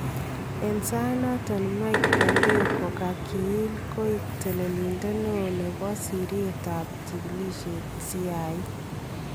En sayiit noton Mike Pompeo kokakiyiil koek teleliindet neon nebo sirityeet ab chikilisheet CIA